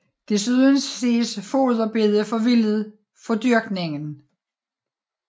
Desuden ses foderbede forvildet fra dyrkning